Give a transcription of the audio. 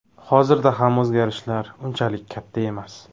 Hozirda ham o‘zgarishlar unchalik katta emas.